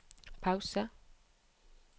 pause